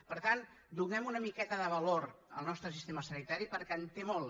per tant donem una miqueta de valor al nostre sistema sanitari perquè en té molt